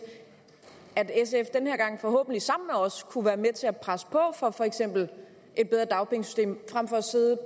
at sf den her gang forhåbentlig sammen med os kunne være med til at presse på for for eksempel et bedre dagpengesystem frem for at sidde